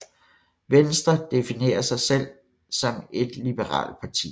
Venstre definerer sig selv om et liberalt parti